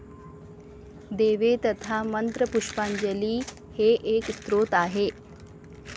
देवे तथा मंत्रपुष्पांजली हे एक स्तोत्र आहे.